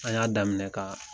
An y'a daminɛ ka